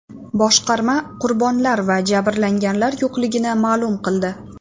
Boshqarma qurbonlar va jabrlanganlar yo‘qligini ma’lum qildi.